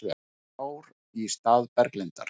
Þrjár í stað Berglindar